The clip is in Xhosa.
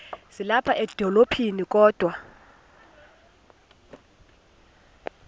ezilapha edolophini kodwa